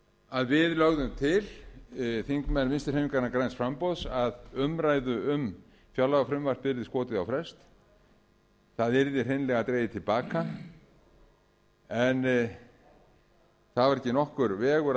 að við lögðum til þingmenn vinstri hreyfingarinnar græns framboðs að umræðu um fjárlagafrumvarpið yrði skotið á frest það yrði hreinlega dregið til baka en það var ekki nokkur vegur að